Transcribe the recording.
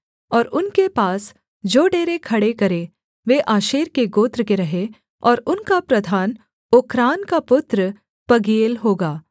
और उनके पास जो डेरे खड़े करें वे आशेर के गोत्र के रहें और उनका प्रधान ओक्रान का पुत्र पगीएल होगा